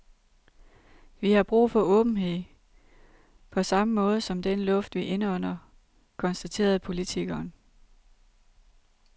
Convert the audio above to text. Vi har brug for åbenhed på sammme måde som den luft, vi indånder, konstaterede politikeren.